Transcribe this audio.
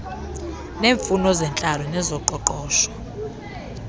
neemfuno zentlalo nezoqoqosho